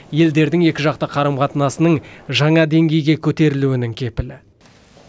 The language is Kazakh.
елдердің екіжақты қарым қатынасының жаңа деңгейге көтерілуінің кепілі